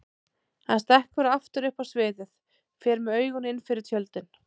Hann stekkur aftur upp á sviðið, fer með augun innfyrir tjöldin.